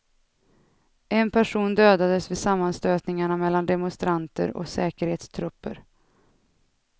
En person dödades vid sammanstötningarna mellan demonstranter och säkerhetstrupper.